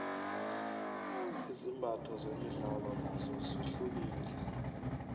izimbatho zemidlalo nozo zihlukile